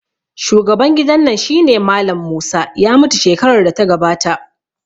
Shugaban gidan nan shine Mallam Musa, ya mutu shekarar da ta gabata